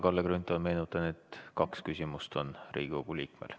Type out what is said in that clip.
Kalle Grünthal, meenutan, et igal Riigikogu liikmel on võimalik esitada kaks küsimust.